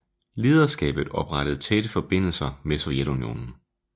Lederskabet oprettede tætte forbindelser med Sovjetunionen